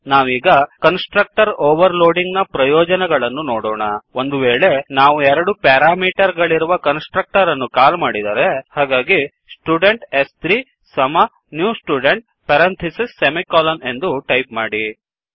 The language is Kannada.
ನಾವೀಗ ಕನ್ಸ್ ಟ್ರಕ್ಟರ್ ಓವರ್ ಲೋಡಿಂಗ್ ನ ಪ್ರಯೋಜನಗಳನ್ನು ನೋಡೋಣ ಒಂದುವೇಳೆ ನಾವು ಎರಡು ಪ್ಯಾರಾಮೀಟರ್ ಗಳಿರುವ ಕನ್ಸ್ ಟ್ರಕ್ಟರ್ ಅನ್ನು ಕಾಲ್ ಮಾಡಿದರೆ ಹಾಗಾಗಿ ಸ್ಟುಡೆಂಟ್ s3 ನ್ಯೂ Studentಎಂದು ಟೈಪ್ ಮಾಡಿ